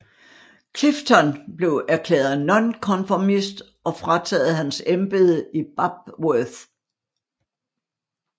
Clyfton blev erklæret nonkonformist og frataget hans embede i Babworth